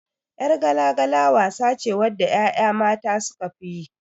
Yar gala-gala wasa ce wacce 'ya'ya mata sukafi yi.